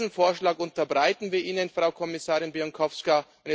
Diesen Vorschlag unterbreiten wir Ihnen, Frau Kommissarin Bieńkowska.